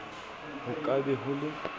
ho ka be ho le